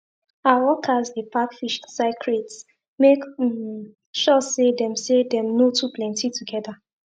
our workers dey pack fish inside crates make um sure say dem say dem no too plenty together